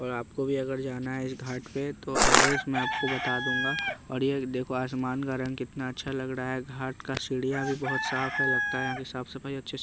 और आपको भी अगर जाना है इस घाट पे तो एड्रेस मैं आपको बता दूंगा और ये देखो आसमान का रंग कितना अच्छा लग रहा है घाट का सीढ़िया भी बहुत साफ है लगता है यहाँ की साफ सफाई अच्छे से--